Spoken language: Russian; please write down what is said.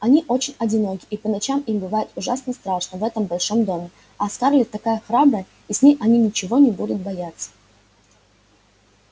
они очень одиноки и по ночам им бывает ужасно страшно в этом большом доме а скарлетт такая храбрая и с ней они ничего не будут бояться